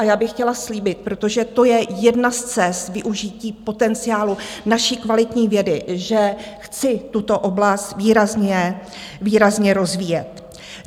A já bych chtěla slíbit, protože to je jedna z cest využití potenciálu naší kvalitní vědy, že chci tuto oblast výrazně rozvíjet.